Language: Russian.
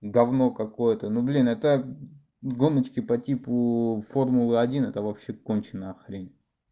гавно какое-то ну блин это гоночки по типу формулы один это вообще конченая хрень